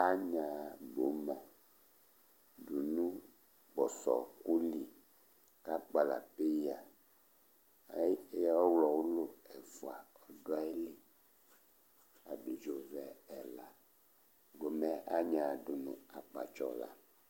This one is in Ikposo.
Anya gboma dʋnu kpɔsɔ ɔku li kʋ akpala peya Ɔwlɔ wʋlu ɛfʋa du ayìlí, abidzo vɛ ɛla Gboma yɛ anya yi dʋnu akpatsɔ la